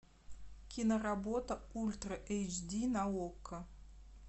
киноработа ультра эйч ди на окко